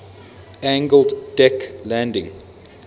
angled deck landing